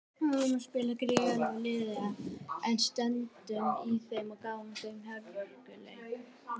Við vorum spila gegn gríðarsterku liði en stöndum í þeim og gáfum þeim hörkuleik.